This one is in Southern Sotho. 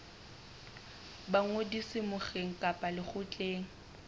ba ngodiso mokgeng kapa lekgotleng